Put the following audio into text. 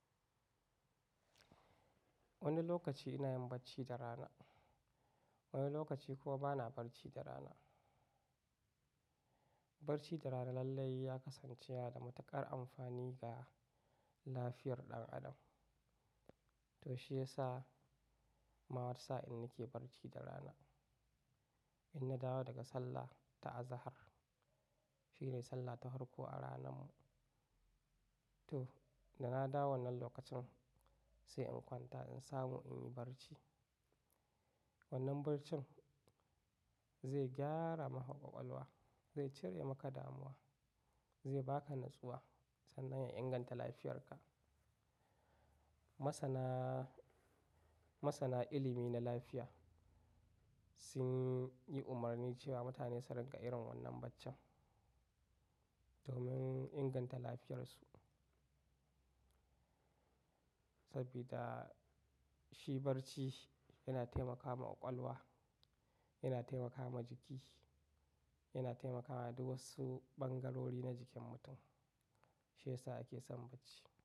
Wani lokaci ina yin barci da rana, wani lokaci kuwa bana barci da rana. Barci da rana lallai ya kasance yana da matuƙar amfani ga lafiyar ɗan adam. To shiyasa ma wani sa'in na ke barci da rana. In dawo daga sallah ta azahar, shine sallah ta hwarko a ranan mu. To, da na dawo wannan lokacin sai in kwanta in samu in yi barci. Wannan barcin zai gyara maka ƙwaƙwalwa, zai cire maka damuwa, zai ba ka natsuwa sannan ya inganta lafiyarka. Masana, masana ilimi na lafiya sun yi umarni cewa mutane su riƙa irin wannan barcin domin inganta lafiyarsu. Sabida shi barci yana taimaka ma ƙwaƙwalwa, yana taimaka ma jiki, yana taimaka wa duk wasu ɓangarori na jikin mutum. Shi yasa ake son barci.